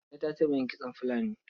Kande ta taɓa yin kitson fulani.